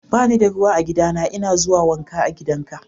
Ba ni da ruwa a gidana. N'na a zuwa wanka a gidan ka.